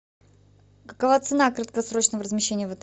какова цена краткосрочного размещения в отеле